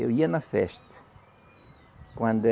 Eu ia na festa. Quando